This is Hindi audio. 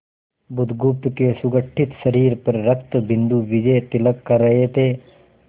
बुधगुप्त के सुगठित शरीर पर रक्तबिंदु विजयतिलक कर रहे थे